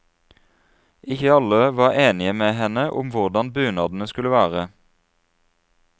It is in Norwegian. Ikke alle var enige med henne om hvordan bunadene skulle være.